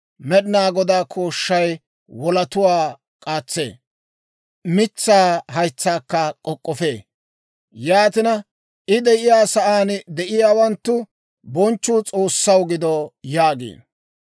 Med'inaa Godaa kooshshay wolatuwaa k'aatsee; mitsaa haytsaakka k'ok'k'ofee. Yaatina, I de'iyaa sa'aan de'iyaawanttu, «Bonchchuu S'oossaw gido» yaagiino.